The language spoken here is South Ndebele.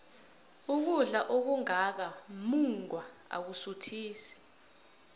ukudla okungaka mungwa akusuthisi